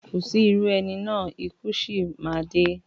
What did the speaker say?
Kò sí irú ẹni náà, ikú sì má a dé